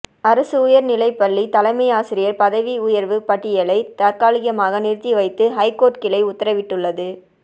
அரசு உயர் நிலைப்பள்ளி தலைமை ஆசிரியர் பதவி உயர்வு பட்டியலை தற்காலிகமாக நிறுத்தி வைத்து ஐகோர்ட் கிளை உத்தரவிட்டுள்ளது